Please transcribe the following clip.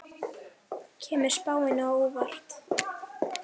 Kemur spáin á óvart?